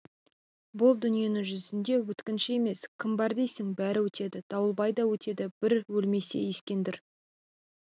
бұл дүниенің жүзінде өткінші емес кім бар дейсің бәрі өтеді дауылбай да өтеді бір өлмесе ескендір